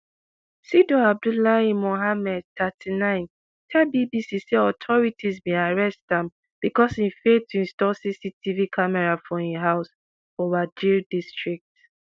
sidow abdullahi mohamed thirty-nine tell bbc say authorities bin arrest am bicos im fail to install cctv camera for im house for wajir district